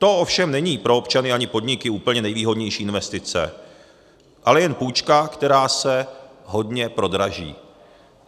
To ovšem není pro občany ani podniky úplně nejvýhodnější investice, ale jen půjčka, která se hodně prodraží.